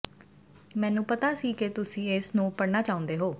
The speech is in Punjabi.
ਮੈਨੂੰ ਪਤਾ ਸੀ ਕਿ ਤੁਸੀਂ ਇਸ ਨੂੰ ਪੜਨਾ ਚਾਹੁੰਦੇ ਹੋ